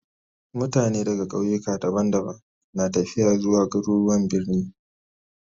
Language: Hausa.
Mutane daga kauyuka daban-daban na tafiya zuwa garuruwan birni